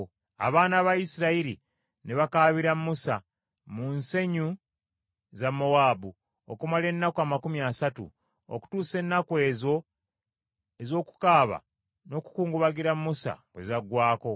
Abaana ba Isirayiri ne bakaabira Musa mu nsenyi za Mowaabu okumala ennaku amakumi asatu, okutuusa ennaku ezo ez’okukaaba n’okukungubagira Musa bwe zaggwaako.